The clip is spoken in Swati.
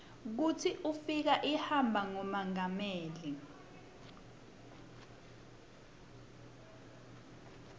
kutsi ukif imaba nqumonqameli